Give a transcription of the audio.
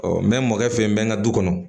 Ɔ n bɛ mɔkɛ fɛ n ka du kɔnɔ